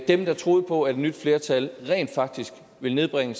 dem der troede på at et nyt flertal rent faktisk ville nedbringe